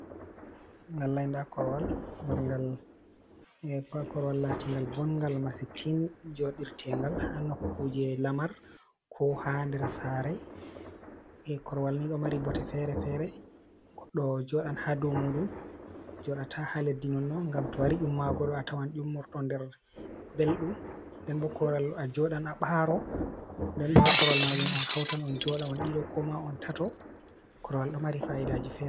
bongal d korwal latingal bongal masi tin jodirtengal ha nokkuje lamar ko ha der sare korwal ni do mari botte fere-fere goddo jodan ha dumudum jodata ha leddi nonno gam to wari dumma godo a tawan jummorto nder beldum denbokoral a jodan abaro denboha korwal majum on hautan on joda on dido ko ma on tatto korwal do mari faydajifre